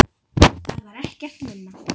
Það var ekkert minna.